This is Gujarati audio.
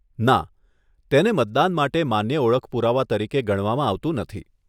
ના, તેને મતદાન માટે માન્ય ઓળખ પુરાવા તરીકે ગણવામાં આવતું નથી.